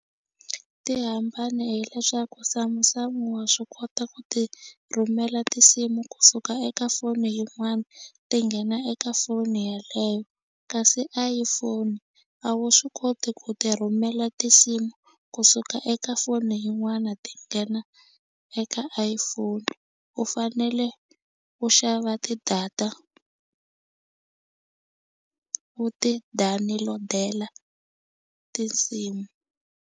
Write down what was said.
Ti hambane hileswaku Samsung wa swi kota ku ti rhumela tinsimu kusuka eka foni yin'wana ti nghena eka foni yeleyo kasi iPhone a wu swi koti ku ti rhumela tinsimu kusuka eka foni yin'wana ti nghena eka iPhone u fanele u xava ti-data u ti download-ela tinsimu.